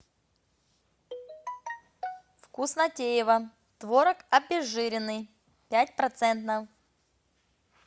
вкуснотеево творог обезжиренный пять процентов